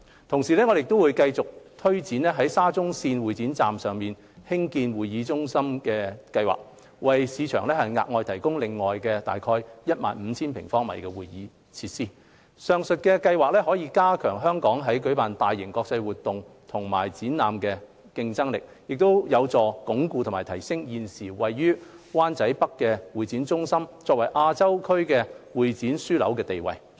同時，我們會繼續推展在沙中線會展站上蓋興建會議中心的計劃，為市場額外提供約 15,000 平方米的會議設施。上述計劃可加強香港在舉辦大型國際會議及展覽的競爭力，並有助鞏固及提升現時位於灣仔北的會展中心作為亞洲會展業樞紐的地位。